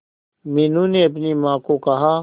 मीनू ने अपनी मां को कहा